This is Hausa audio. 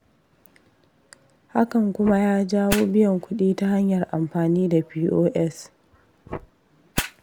Hakan kuma ya jawo biyan kuɗi ta hanyar amfani da fi'o'yas.